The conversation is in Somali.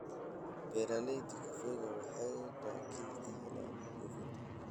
Beeralayda kafeega waxay dakhli ka helaan dhoofinta.